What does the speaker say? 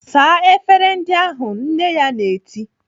"Saa efere ndị ahụ!" Nne ya na-eti.